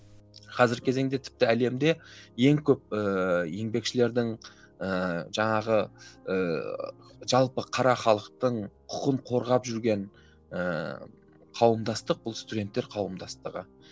қазіргі кезеңде тіпті әлемде ең көп ііі еңбекшілердің ііі жаңағы ііі жалпы қара халықтың құқығын қорғап жүрген ііі қауымдастық бұл студенттер қауымдастығы